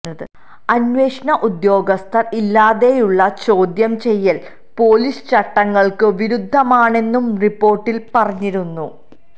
അന്വേഷണ ഉദ്യോഗസ്ഥര് ഇല്ലാതെയുള്ള ചോദ്യം ചെയ്യല് പൊലീസ് ചട്ടങ്ങള്ക്ക് വിരുദ്ധമാണെന്നും റിപ്പോര്ട്ടില് പറഞ്ഞിരുന്നു